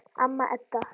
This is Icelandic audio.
Amma Edda.